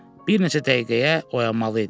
Bir neçə dəqiqəyə oyanmalı idi.